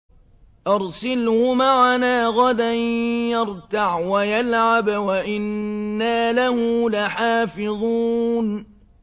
أَرْسِلْهُ مَعَنَا غَدًا يَرْتَعْ وَيَلْعَبْ وَإِنَّا لَهُ لَحَافِظُونَ